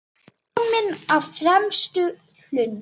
Kominn á fremsta hlunn.